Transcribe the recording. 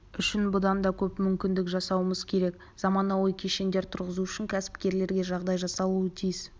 үшін бұдан да көп мүмкіндік жасауымыз керек заманауи кешендер тұрғызу үшін кәсіпкерлерге жағдай жасалуы тиіс